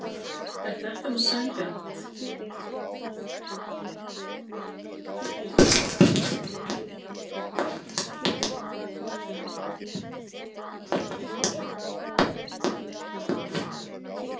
Er þetta nú sanngjarnt?